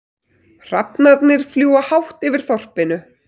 Hrafnarnir fljúga hátt yfir þorpinu.